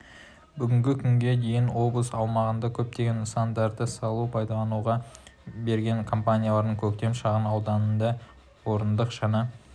бүгінгі күнге дейін облыс аумағында көптеген нысандарды салып пайдалануға берген компанияның көктем шағын ауданындағы орындық жаңа